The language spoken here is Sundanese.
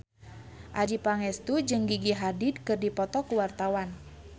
Adjie Pangestu jeung Gigi Hadid keur dipoto ku wartawan